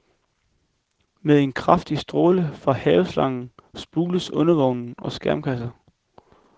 Med en kraftig stråle fra haveslangen spules undervogn og skærmkasser.